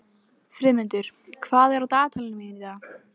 Friðmundur, hvað er á dagatalinu mínu í dag?